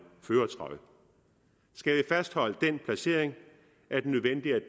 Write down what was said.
førertrøje skal vi fastholde den placering